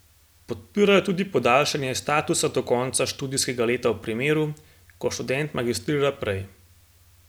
Podpirajo tudi podaljšanje statusa do konca študijska leta v primeru, ko študent magistrira prej.